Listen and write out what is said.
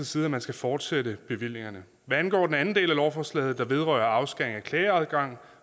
side at man skal fortsætte bevillingerne hvad angår den anden del af lovforslaget der vedrører afskæring af klageadgang